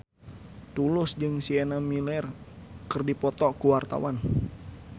Tulus jeung Sienna Miller keur dipoto ku wartawan